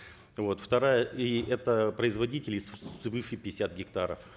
вот вторая и это производители свыше пятидесяти гектаров